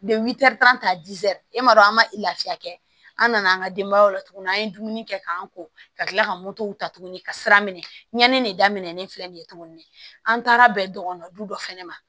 e m'a dɔn an ma lafiya kɛ an nana an ka denbayaw la tuguni an ye dumuni kɛ k'an ko ka kila ka ta tuguni ka sira minɛ ɲani ne daminɛ ne filɛ nin ye tuguni an taara bɛn dɔgɔni dɔ fana ma